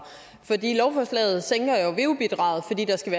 lovforslaget sænker jo veu bidraget fordi der skal